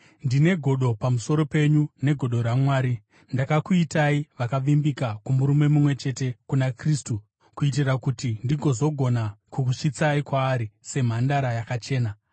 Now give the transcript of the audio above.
Ndine godo pamusoro penyu negodo raMwari. Ndakakuitai vakavimbika kumurume mumwe chete, kuna Kristu, kuitira kuti ndigozogona kukusvitsai kwaari semhandara yakachena.